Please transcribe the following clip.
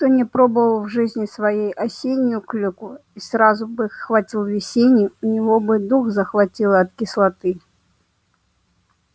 кто не пробовал в жизни своей осеннюю клюкву и сразу бы хватил весенней у него бы дух захватило от кислоты